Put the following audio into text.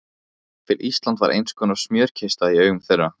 Jafnvel Ísland var einskonar smjörkista í augum þeirra.